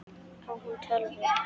Á hún tölvu?